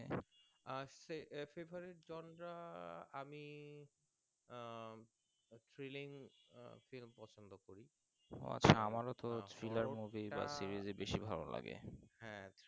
আহ সে Favourite wonder আমি ah Feeling film হ্যাঁ